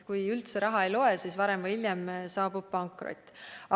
Kui üldse raha ei loe, siis varem või hiljem saabub pankrot.